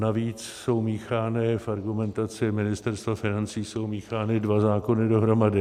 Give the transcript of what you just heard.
Navíc jsou míchány, v argumentaci Ministerstva financí jsou míchány dva zákony dohromady.